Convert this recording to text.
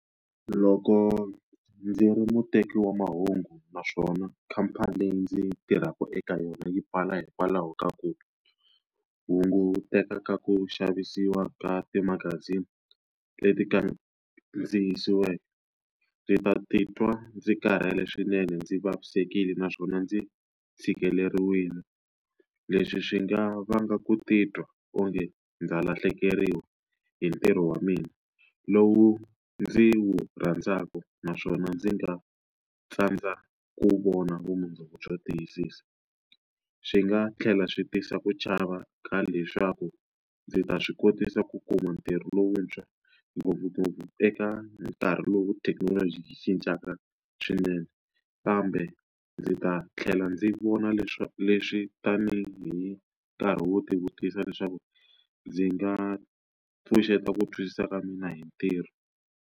Loko ndzi ri muteki wa mahungu naswona khamphani leyi ndzi tirhaka eka yona yi pfala hikwalaho ka ku hunguteka ka ku xavisiwa ka timagazini leti kandziyisiweke, ndzi ta titwa ndzi karhele swinene, ndzi vavisekile, naswona ndzi tshikileriwile. Leswi swi nga vanga ku titwa onge ndza lahlekeriwa hi ntirho wa mina lowu ndzi wu rhandzaka naswona ndzi nga tsandza ku vona vumundzuku byo tiyisisa. Swi nga tlhela swi tisa ku chava ka leswaku ndzi ta swi kotisa ku kuma ntirho lowuntshwa ngopfungopfu eka nkarhi lowu thekinoloji cincaka swinene, kambe ndzi ta tlhela ndzi vona leswi tanihi nkarhi wo tivutisa leswaku ndzi nga pfuxeta ku twisisa ka mina hi ntirho.